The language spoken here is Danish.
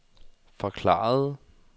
forklarede